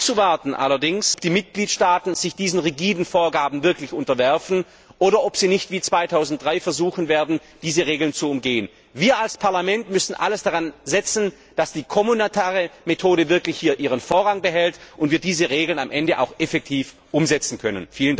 Es bleibt allerdings abzuwarten, ob die Mitgliedstaaten sich diesen rigiden Vorgaben wirklich unterwerfen oder ob sie nicht wie 2003 versuchen werden, diese Regeln zu umgehen. Wir als Parlament müssen alles daran setzen, dass die Gemeinschaftsmethode hier wirklich ihren Vorrang behält und wir diese Regeln am Ende auch effektiv umsetzen können.